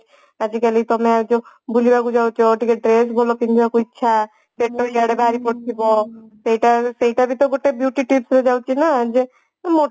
ଆଜିକାଲି ତମେ ଯୋଉ ବୁଲିବାକୁ ଯାଉଛ ଟିକେ dress ଭଲ ପିନ୍ଧିବାକୁ ଇଚ୍ଛା ପେଟ ଇୟାଡେ ବାହାରି ପଡୁଥିବ ସେଇଟା ସେଇଟାବି ତ ଗୋଟେ beauty tips ରେ ଯାଉଛି ନା ଯେ